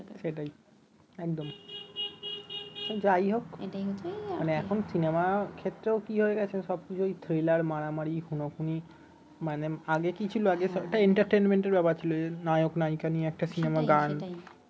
সেটাই একদম যাই হোক